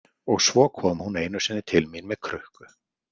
Og svo kom hún einu sinni til mín með krukku.